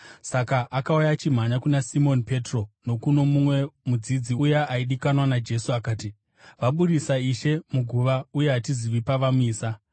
Saka akauya achimhanya kuna Simoni Petro nokuno mumwe mudzidzi, uya aidikanwa naJesu, akati, “Vabudisa Ishe muguva, uye hatizivi pavamuisa!”